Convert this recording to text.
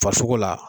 Farisogo la